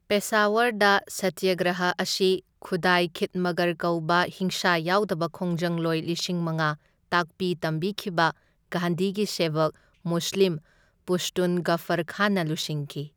ꯄꯦꯁꯥꯋꯔꯗ ꯁꯇ꯭ꯌꯒ꯭ꯔꯍ ꯑꯁꯤ ꯈꯨꯗꯥꯏ ꯈꯤꯠꯃꯠꯒꯔ ꯀꯧꯕ ꯍꯤꯡꯁꯥ ꯌꯥꯎꯗꯕ ꯈꯣꯡꯖꯪꯂꯣꯏ ꯂꯤꯁꯤꯡ ꯃꯉꯥ ꯇꯥꯛꯄꯤ ꯇꯝꯕꯤꯈꯤꯕ ꯒꯥꯟꯙꯤꯒꯤ ꯁꯦꯕꯣꯛ ꯃꯨꯁꯂꯤꯝ ꯄꯁ꯭ꯇꯨꯟ ꯒꯐꯔ ꯈꯥꯟꯅ ꯂꯨꯆꯤꯡꯈꯤ꯫